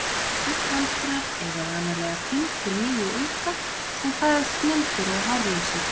Gullhamstrar eiga vanalega fimm til níu unga sem fæðast blindir og hárlausir.